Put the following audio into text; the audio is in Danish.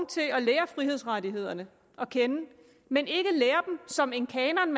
lærer frihedsrettighederne at kende men ikke som en kanon